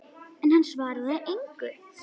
En hann svaraði engu.